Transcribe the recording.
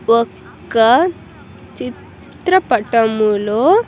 ఒక్క చిత్రపటములో.